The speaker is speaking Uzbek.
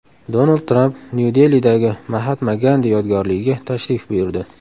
Donald Tramp Nyu-Delidagi Mahatma Gandi yodgorligiga tashrif buyurdi.